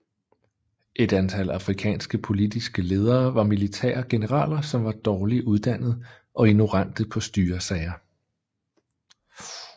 Et antal afrikanske politiske ledere var militære generaler som var dårlig uddannet og ignorante på styresager